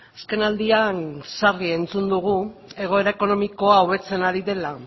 azkenaldian sarri entzun dugu egoera ekonomikoa hobetzen ari dela